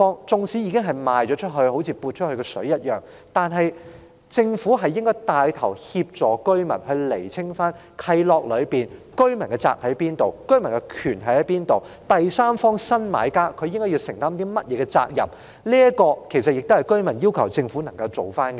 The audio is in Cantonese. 縱使已經出售的物業有如潑出的水，但政府應牽頭協助居民釐清契諾中的責任和權利，以及第三方新買家應承擔的責任，這是居民要求政府做的事。